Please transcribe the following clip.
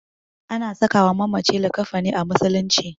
Ana sakawa mamaci likkafani a musulunci.